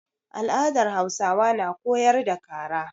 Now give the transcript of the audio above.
Al'adar Hausawa na koyar da kara.